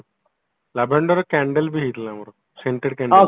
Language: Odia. lavenderରେ candle ବି ହେଇଥିଲା ଆମର center candle